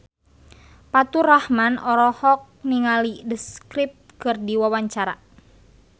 Faturrahman olohok ningali The Script keur diwawancara